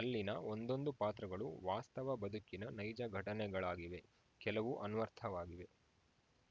ಅಲ್ಲಿನ ಒಂದೊಂದು ಪಾತ್ರಗಳು ವಾಸ್ತವ ಬದುಕಿನ ನೈಜ ಘಟನೆಗಳಾಗಿವೆ ಕೆಲವು ಅನ್ವರ್ಥವಾಗಿವೆ